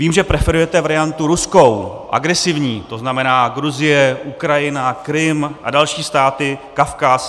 Vím, že preferujete variantu ruskou, agresivní, to znamená, Gruzie, Ukrajina, Krym a další státy, Kavkaz.